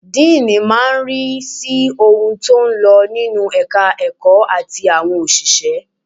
Díìnì máa ń rí sí ohun tó ń lọ nínú ẹ̀ka ẹ̀kọ́ àti àwọn òṣìṣẹ́.